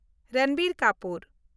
Ranbir Kapoor